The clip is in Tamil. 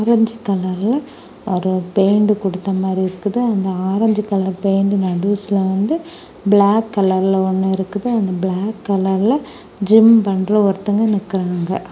ஆரஞ்சு கலர்ல ஒரு பெயிண்ட் கொடுத்த மாதிரி இருக்கு அந்த ஆரஞ்சு கலர் பெயிண்ட் நடுவுலசுல வந்து பிளாக் கலர்ல ஒன்னு இருக்குது அந்த பிளாக் கலர்ல ஜிம் பண்ற ஒருத்த வங்க நிக்கிறாங்க.